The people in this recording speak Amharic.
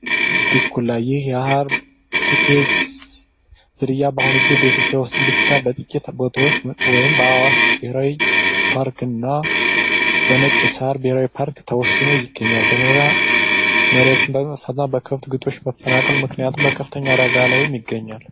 ድኩላ ይህ የሀርት ቤት ዝርያ በአሁኑ ጊዜ በኢትዮጵያ ዉስጥ ብቻ በጥቂት ቦታወች ወይም በአዋሽ ብሔራዊ ፓርኮች እና በነጭ ሳር ብሄራዊ ፓርክ ተወስነዉ ይገኛሉ በበረራ በከብት ክጦሽ መፈናቀል ምክንያት በከፍተኛ አዳጋ ላይ ይገኛል